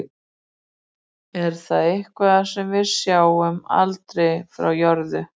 Er það eitthvað sem við sjáum aldrei frá jörðu?